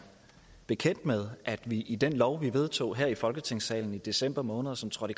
bekendt med at vi i den lov vi vedtog her i folketingssalen i december måned og som trådte